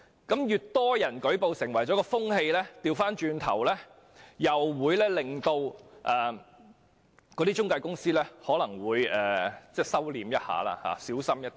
當越多人舉報，便會形成一種風氣，反過來會令中介公司稍為收斂，更謹慎行事。